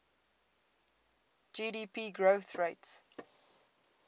gdp growth rates